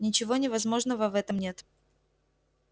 ничего невозможного в этом нет